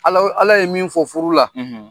Alahu, Ala ye min fɔ furu la,